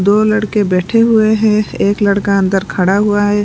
दो लड़के बैठे हुए हैं एक लड़का अंदर खड़ा हुआ है।